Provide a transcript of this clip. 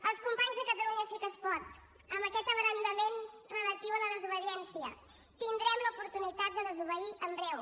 als companys de catalunya sí que es pot amb aquest abrandament relatiu a la desobediència tindrem l’oportunitat de desobeir en breu